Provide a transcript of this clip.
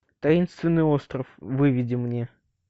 таинственный остров выведи мне